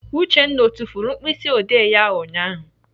Uchenna ọ tufuru mkpịsịodee ya ụnyaahụ?